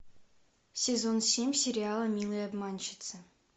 сезон семь сериала милые обманщицы